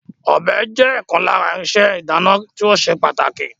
Ọ̀bẹ jẹ́ ọ̀kan lára irinṣẹ́ ìdáná tí ó ṣe pàtàkì